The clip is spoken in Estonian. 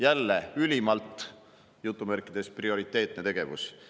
Jälle ülimalt "prioriteetne" tegevus.